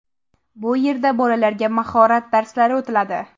Bu yerda bolalarga mahorat darslari o‘tiladi.